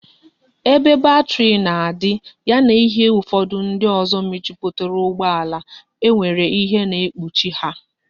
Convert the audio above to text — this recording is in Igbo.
Ebe bateri na adi, ya na ihe ufodu ndi ozo mejuputara ugbo ala, e nwere ihe na ekpuchi ha